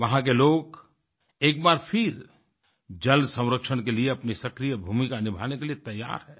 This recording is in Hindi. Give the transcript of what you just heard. वहाँ के लोग एक बार फिर जल संरक्षण के लिए अपनी सक्रिय भूमिका निभाने के लिए तैयार हैं